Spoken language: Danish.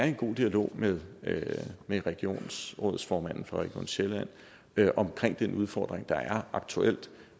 i en god dialog med regionsrådsformanden for region sjælland omkring den udfordring der er aktuelt